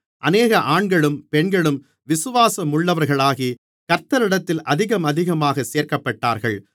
அநேக ஆண்களும் பெண்களும் விசுவாசமுள்ளவர்களாகி கர்த்தரிடத்தில் அதிகமதிகமாகச் சேர்க்கப்பட்டார்கள்